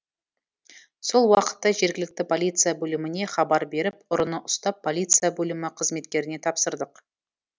сол уақытта жергілікті полиция бөліміне хабар беріп ұрыны ұстап полиция бөлімі қызметкеріне тапсырдық